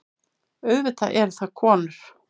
Auðvitað eru það konur.